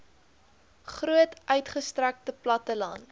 groot uitgestrekte platteland